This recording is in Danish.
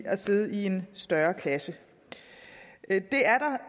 man sidder i en større klasse